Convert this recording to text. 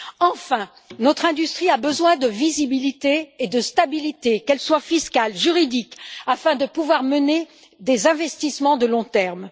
Enfin, notre industrie a besoin de visibilité et de stabilité, fiscale et juridique, afin de pouvoir mener des investissements à long terme.